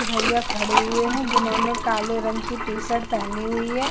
भैया खड़े हुए है जिन्होंने काले रंग की टी शर्ट पहनी हुई है।